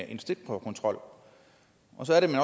en stikprøvekontrol og så er det man